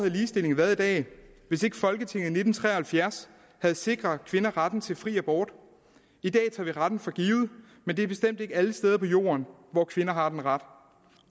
ligestillingen været i dag hvis ikke folketinget i nitten tre og halvfjerds havde sikret kvinder retten til fri abort i dag tager vi retten for givet men det er bestemt ikke alle steder på jorden hvor kvinder har den ret